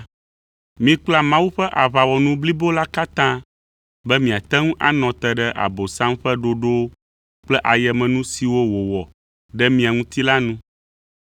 Mikpla Mawu ƒe aʋawɔnu blibo la katã be miate ŋu anɔ te ɖe Abosam ƒe ɖoɖowo kple ayemenu siwo wòɖo ɖe mia ŋuti la nu.